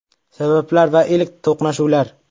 Sabablar va ilk to‘qnashuvlar.